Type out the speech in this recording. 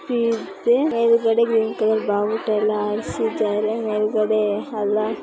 ಇದೆ ಮೇಲೆಗಡೆ green colour ಭಾವುಟ ಎಲ್ಲ ಹಾರಿಸಿದ್ದಾರೆ ಮೇಲೆಗಡೆ ಅಲ್ಲಹ.